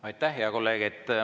Aitäh, hea kolleeg!